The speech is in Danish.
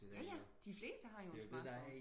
ja ja de fleste har jo en smartphone